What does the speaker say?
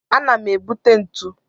Ana m ebute ntu.